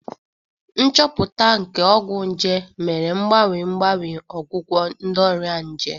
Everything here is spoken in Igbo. Nchọpụta nke ọgwụ nje mere mgbanwe mgbanwe ọgwụgwọ nke ọrịa nje